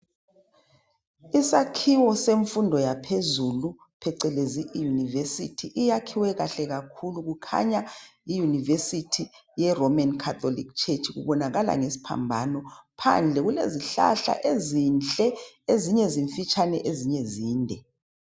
Isakhiwo semfundo yaphezulu, phecelezi iyunivesithu, iyakhiwe kahle kakhulu. Kukhanya yiyunivesithi ye Romeni Khatoliki Tshetshi, kubonakala ngesiphambano. Phandle kulezihlahla ezinhle. Ezinye zimfitshane, ezinye zinde.